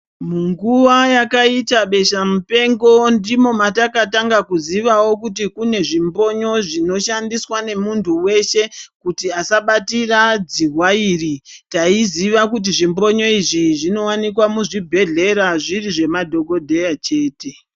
Mu nguva yakaita besha mupengo ndimo mataka tanga kuzivawo kuti kune zvimbinyo zvino shandiswa ne muntu weshe kuti asa batira dzihwa iri taiziva kuti zvi mbonyo izvi zvino wanikwa mu zvibhedhlera zviri zve madhokodheya chete.